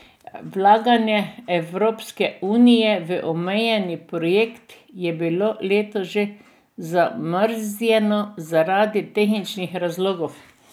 Vlaganje Evropske unije v omenjeni projekt je bilo letos že zamrznjeno zaradi tehničnih razlogov.